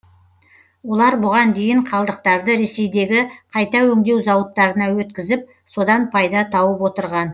олар бұған дейін қалдықтарды ресейдегі қайта өңдеу зауыттарына өткізіп содан пайда тауып отырған